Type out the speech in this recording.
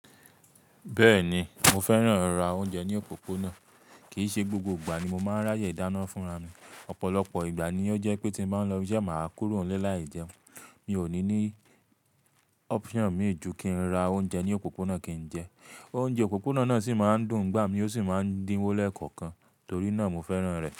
Bẹ́ẹ̀ni, mo fẹ́ràn ra oúnjẹ ní òpópónà, kì í ṣe gbogbo ìgbà ni mo máa ń ráyè dáná fúnra mi, ọ̀pọ̀lọpọ̀ ìgbà ni ó jẹ́ pé tí mo bá ń lọ ibi iṣẹ́, màá kúrò nílé láì jẹun. Mi ò ní ní option mì í ju kí n ra oúnjẹ ní òpópónà kí n jẹ. Oúnjẹ òpópónà náà sì máa ń dùn ngbà mí ó sì máa ń dínwó lẹ́ẹ̀kọ̀kan, torí náà mo fẹ́ràn rẹ̀.